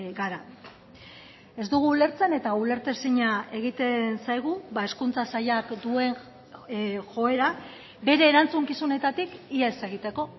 gara ez dugu ulertzen eta ulertezina egiten zaigu hezkuntza sailak duen joera bere erantzukizunetatik ihes egiteko